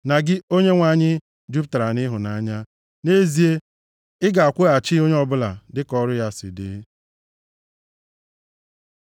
na gị, Onyenwe anyị, jupụtara nʼịhụnanya. Nʼezie, ị ga-akwụghachi onye ọbụla dịka ọrụ ya si dị.”